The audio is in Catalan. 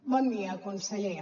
bon dia conseller